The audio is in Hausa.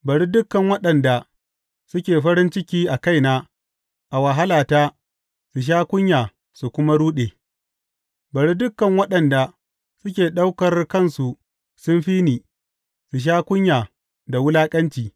Bari dukan waɗanda suke farin ciki a kaina a wahalata su sha kunya su kuma ruɗe; bari dukan waɗanda suke ɗaukar kansu sun fi ni su sha kunya da wulaƙanci.